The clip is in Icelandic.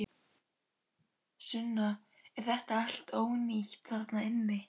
Sunna: Er þetta allt ónýtt þarna inni?